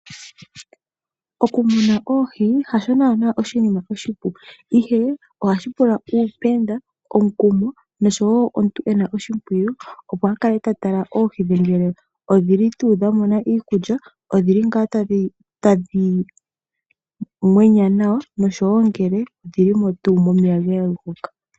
Okumuna oohi hasho naanaa oshinima oshipu ihe, ohashi pula uupenda, omukumo noshowoo omuntu ena oshimpwiyu opo akale tatala oohi dhe ngele odhili tuu dhamona iikulya , odhili ngaa tadhi mwenya nawa noshowoo ngele odhili tuu momeya ga yogoka.